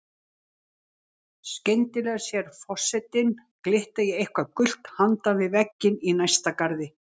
Skriðdrekum sem gátu hringsnúist.